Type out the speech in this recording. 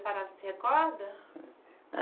A senhora se recorda?